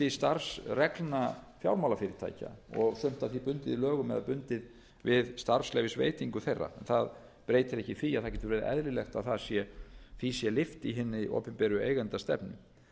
starfsreglna fjármálafyrirtækja og sumt af því bundið í lögum eða bundið við starfsleyfisveitingu þeirra það breytir ekki því að það getur verið eðlilegt að því sé lyft í hinni opinberu eigendastefnu